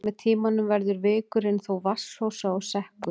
Með tímanum verður vikurinn þó vatnsósa og sekkur.